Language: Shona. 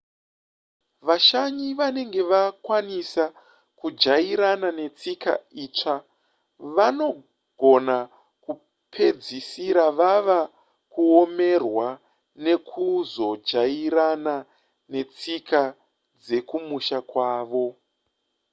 vashanyi vanenge vakwanisa kujairana netsika itsva vanogona kupedzisira vava kuomerwa nekuzojairana netsika dzekumusha kwavo